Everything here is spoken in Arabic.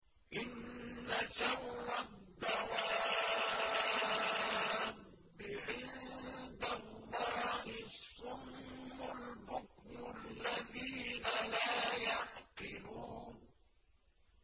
۞ إِنَّ شَرَّ الدَّوَابِّ عِندَ اللَّهِ الصُّمُّ الْبُكْمُ الَّذِينَ لَا يَعْقِلُونَ